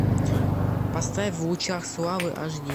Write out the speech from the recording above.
поставь в лучах славы аш ди